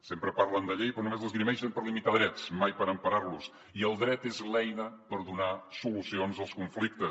sempre parlen de llei però només l’esgrimeixen per limitar drets mai per emparar los i el dret és l’eina per donar solucions als conflictes